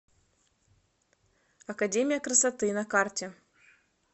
академия красоты на карте